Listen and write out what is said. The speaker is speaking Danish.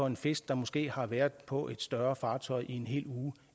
en fisk der måske har været på et større fartøj i en hel uge